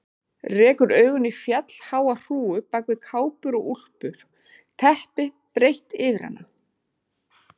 Rekur augun í fjallháa hrúgu bak við kápur og úlpur, teppi breitt yfir hana.